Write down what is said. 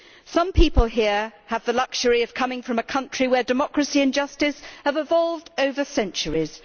Some people here have the luxury of coming from a country where democracy and justice have evolved over centuries.